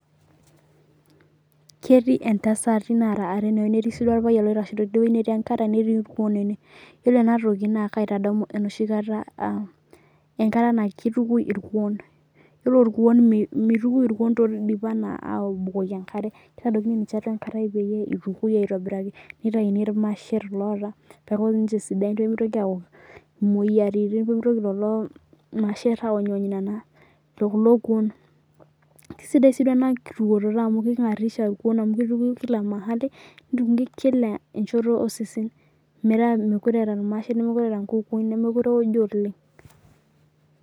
Ketii ntasati nara are tenewueji netii si orpayian oitaho tenewueji netii enkare netii rkuon yiolo enatoki na kaitadamu enoshi kata kati aang enkata na kitukui irkuon ore rkuon mituki toldip ana abukoki enkare kitadokini ninche atua enkare peyieu itukunibaitobiraki nitauni irmasher loota peeaku ninche sidain pemitoki ayau imoyiaritin mitoki olo masher aony kulo kuon kisidai si enatukoto amu kingarisha irkuon amu kingarishai pooki wueji nituki kila mahali osesen metaamekutee eeta irmasher nemekute eeta nkukuni nemekute eojo oleng